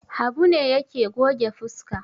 Habu ne yake goge fuska.